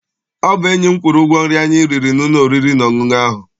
Ọ bụ enyi m kwụrụ ụgwọ nri anyi riri n'ụlọ oriri na ọṅụṅụ ahụ.